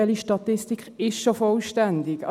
Welche Statistik ist schon vollständig.